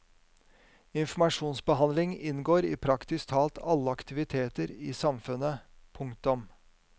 Informasjonsbehandling inngår i praktisk talt alle aktiviteter i samfunnet. punktum